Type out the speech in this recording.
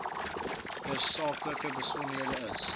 tersaaklike besonderhede is